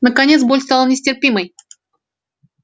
наконец боль стала нестерпимой